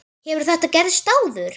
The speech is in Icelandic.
Hefur þetta gerst áður?